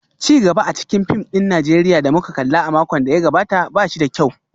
Ci gaba a cikin fim ɗin Najeriya da muka kalla a makon da ya gabata ba shi da kyau